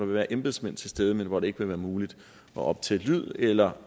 være embedsmænd til stede men hvor det ikke vil være muligt at optage lyd eller